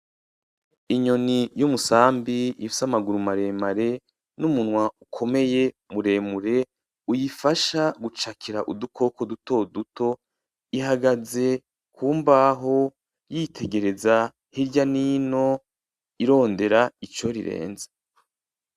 Inyoni y’uyumusabi ifise amaguru maremare numunwa ukomeye muremure uyifasha gucakira udukoko dutoduto ,ihagaze kubaho yitengereza hirya nino irondera ico rireza.